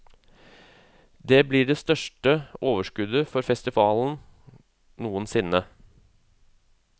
Det blir det største overskuddet for festivalen noen sinne.